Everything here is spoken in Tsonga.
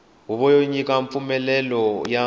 huvo yo nyika mpfumlelelo ya